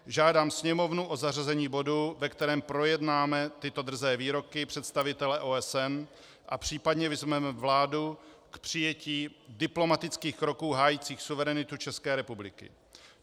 Žádám Sněmovnu o zařazení bodu, ve kterém projednáme tyto drzé výroky představitele OSN a případně vyzveme vládu k přijetí diplomatických kroků hájících suverenitu České republiky.